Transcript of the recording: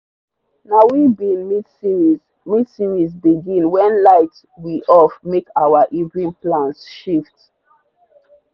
na we be mid-series mid-series binge when light we off make our evening plans shift.